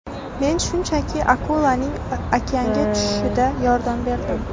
Men shunchaki akulaning okeanga tushishida yordam berdim.